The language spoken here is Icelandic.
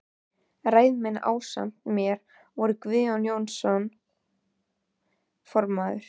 Ræðumenn ásamt mér voru þeir Guðjón Jónsson formaður